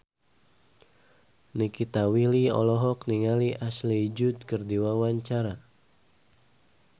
Nikita Willy olohok ningali Ashley Judd keur diwawancara